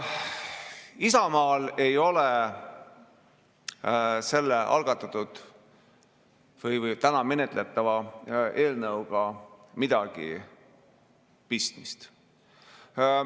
Isamaal ei ole selle algatatud ja täna menetletava eelnõuga midagi pistmist.